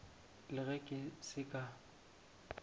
le ge ke se ka